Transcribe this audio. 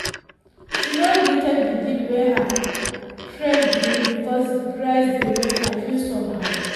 she no gree take the gift wey her friend bring because the price dey make her feel somehow